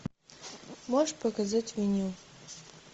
можешь показать меню